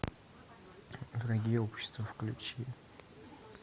враги общества включи